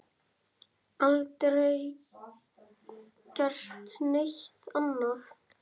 Aldrei gert neitt annað.